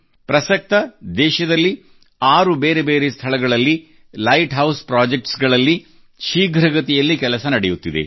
ಪ್ರಸಕ್ತವಾಗಿ ದೇಶದಲ್ಲಿ 6 ಬೇರೆ ಬೇರೆ ಸ್ಥಳಗಳಲ್ಲಿ ಲೈಟ್ ಹೌಸ್ ಪ್ರೊಜೆಕ್ಟ್ಸ್ ಗಳಲ್ಲಿ ಶೀಘ್ರಗತಿಯಲ್ಲಿ ಕೆಲಸ ನಡೆಯುತ್ತಿದೆ